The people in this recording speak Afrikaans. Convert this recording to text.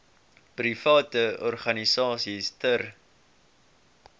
private organisasies ter